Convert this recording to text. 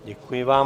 Děkuji vám.